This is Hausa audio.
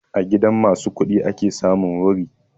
A gidan ma su kuɗi ake samun wuri